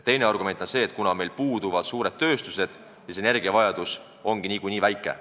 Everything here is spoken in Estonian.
Teine argument on see, et kuna meil puudub suurtööstus, siis energiavajadus on niikuinii väike.